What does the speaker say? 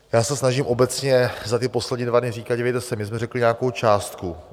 Já se snažím obecně za ty poslední dva dny říkat: dívejte se, my jsme řekli nějakou částku.